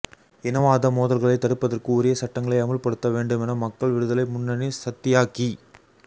இனவாத மோதல்களைத் தடுப்பதற்கு உரிய சட்டங்களை அமுல்படுத்த வேண்டுமென மக்கள் விடுதலை முன்னணி சத்தியாக்கி